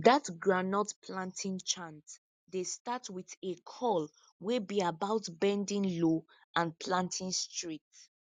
dat groundnut planting chant dey start wit a call wey be about bending low and planting straight